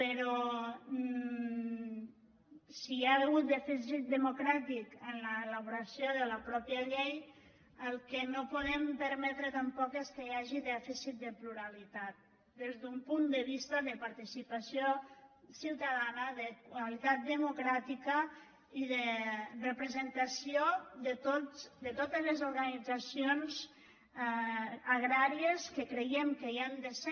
però si hi ha hagut dèficit democràtic en l’ela·boració de la mateixa llei el que no podem permetre tampoc és que hi hagi dèficit de pluralitat des d’un punt de vista de participació ciutadana de qualitat de·mocràtica i de representació de totes les organitzacions agràries que creiem que hi han de ser